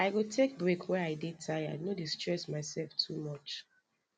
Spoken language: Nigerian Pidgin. i go take break wen i dey tired no dey stress myself too much